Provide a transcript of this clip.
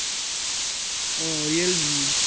ও Realme